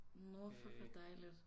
Nåh fuck hvor dejligt